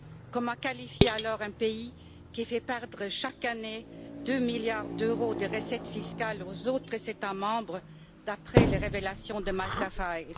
Comment qualifier alors un pays qui fait perdre chaque année 2 milliards d'euros de recettes fiscales aux autres États membres, d'après les révélations des Malta Files